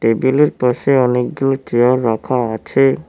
টেবিলের পাশে অনেকগুলি চেয়ার রাখা আছে।